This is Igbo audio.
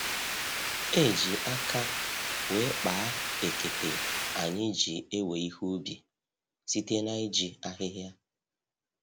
E ji aka wee kpaa ekete anyị ji ewe ihe ubi, site na-iji ahịhịa